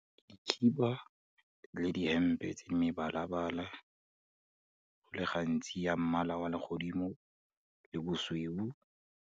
Dikhiba le dihempe tse mebala-bala, go le gantsi ya mmala wa legodimo le bosweu.